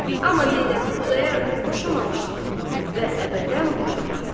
Amma Zeynəbi Xudayar bəy boşamamışdı və əbədən boşamazdı.